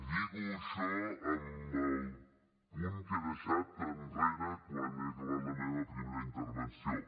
lligo això amb el punt que he deixat enrere quan he acabat la meva primera intervenció